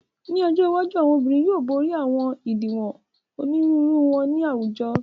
Ni ojo iwaju, awọn obirin yoo bori awọn idiwọn oniruuru wọn ni awujọ